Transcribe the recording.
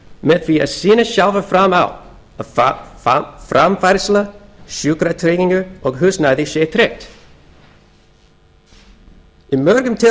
með því að sýna sjálfir fram á að framfærsla sjúkratrygging og húsnæði sé tryggt í mörgum